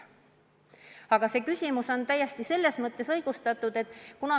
Aga teie küsimus on täiesti õigustatud.